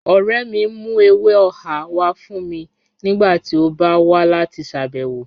Ọ̀rẹ́ mì n mú èwè ọ̀hà wà fún mì nígbàtí ó bá wà láti ṣábẹ̀wọ̀